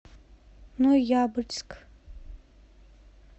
ноябрьск